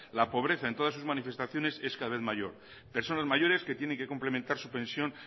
la pobreza en todas sus manifestaciones es cada vez mayor personas mayores que tienen que complementar su pensión